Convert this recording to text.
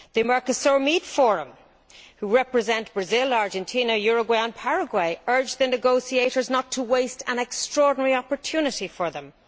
The Mercosur Meat Forum, which represents Brazil, Argentina, Uruguay and Paraguay, urged the negotiators not to waste an extraordinary opportunity for them.